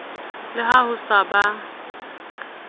le ha o sa ba